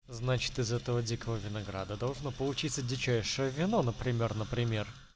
значит из этого дикого винограда должно получиться дичайшие вино например например